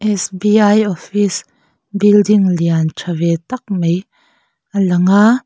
s b i office building lian tha ve tak mai a lang a.